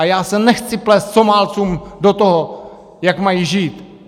A já se nechci plést Somálcům do toho, jak mají žít.